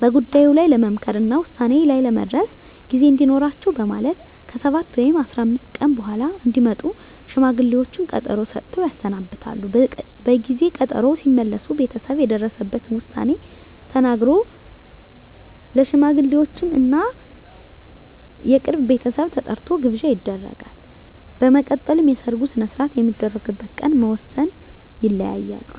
በጉዳዩ ላይ ለመምከር እና ውሳኔ ላይ ለመድረስ ጊዜ እንዲኖራቸው በማለት ከ7 ወይም 15 ቀን በኃላ እንዲመጡ ሽማግሌዎቹን ቀጠሮ ሰጥተው ያሰናብታሉ። በጊዜ ቀጠሮው ሲመለሱ ቤተሰብ የደረሰበትን ዉሳኔ ተናግሮ፣ ለሽማግሌወቹም እና የቅርብ ቤተሰብ ተጠርቶ ግብዣ ይደረጋል። በመቀጠልም የሰርጉ ሰነሰርአት የሚደረግበት ቀን በመወስን ይለያያሉ።